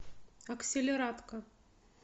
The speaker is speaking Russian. акселератка